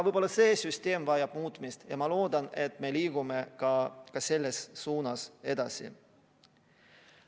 Võib-olla see süsteem vajab muutmist ja ma loodan, et me liigume ka selles suunas edasi.